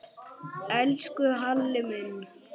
Elsku Halli minn.